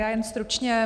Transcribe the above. Já jen stručně.